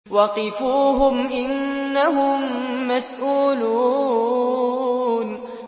وَقِفُوهُمْ ۖ إِنَّهُم مَّسْئُولُونَ